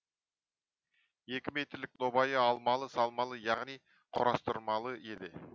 екі метрлік нобайы алмалы салмалы яғни құрастырмалы еді